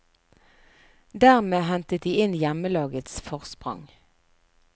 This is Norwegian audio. Dermed hentet de inn hjemmelagets forsprang.